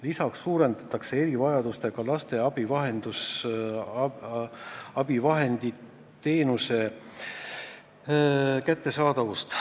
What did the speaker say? Lisaks suurendatakse erivajadustega laste abivahendite kättesaadavust.